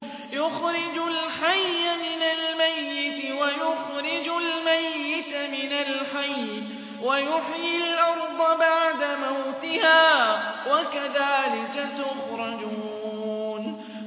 يُخْرِجُ الْحَيَّ مِنَ الْمَيِّتِ وَيُخْرِجُ الْمَيِّتَ مِنَ الْحَيِّ وَيُحْيِي الْأَرْضَ بَعْدَ مَوْتِهَا ۚ وَكَذَٰلِكَ تُخْرَجُونَ